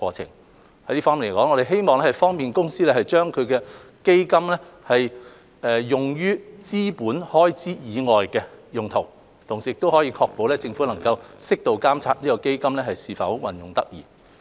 就這方面，我們希望可以方便海洋公園公司將基金運用於資本開支以外的用途，同時確保政府能適度監察基金是否運用得宜。